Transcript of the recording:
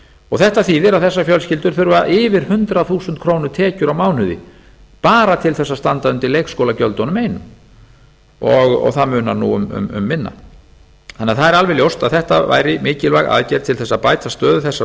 og þetta þýðir að þessar fjölskyldur þurfa yfir hundrað þúsund króna tekjur á mánuði bara til þess að standa undir leikskólagjöldunum einum og það munar nú um minna það er því alveg ljóst að þetta væri mikilvæg aðgerð til þess að bæta stöðu þessara